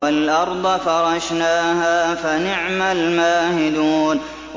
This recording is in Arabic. وَالْأَرْضَ فَرَشْنَاهَا فَنِعْمَ الْمَاهِدُونَ